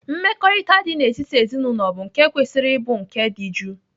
Mmekọrịta dị n'etiti ezinaụlọ bụ nke kwesịrị ịbụ nke dị jụụ.